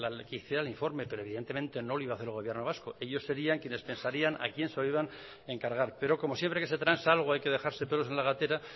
que hiciera el informe pero evidentemente no lo iba a hacer el gobierno vasco ellos serían quienes pensarían a quién se lo iban a encargar pero como siempre que se transa algo hay que dejarse pelos en la gatera